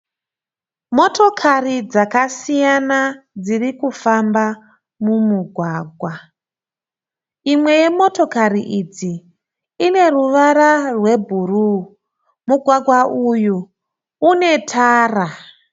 Motikari dzakasiyana dziri kufamba mumugwagwa. Imwe yemotokari idzi ine ruvara rwebhuruu. Mugwagwa uyu une tara.